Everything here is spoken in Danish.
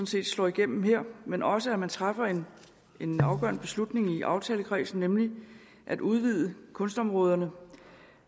set slår igennem her men også at man træffer en afgørende beslutning i aftalekredsen nemlig at udvide kunstområderne